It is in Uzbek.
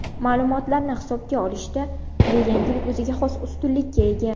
Ma’lumotlarni hisobga olishda bu yangilik o‘ziga xos ustunlikka ega.